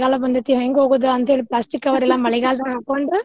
ಮಳಿಗಾಲ ಬಂದಿರ್ತೇತಿ ಹೆಂಗ್ ಹೋಗುದು ಅಂತೇಳಿ plastic cover ಎಲ್ಲಾ ಮಳಿಗಾಲದಾಗ ಹಾಕೊಂಡ್.